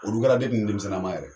Olu kɛra n denmisɛnninma yɛrɛ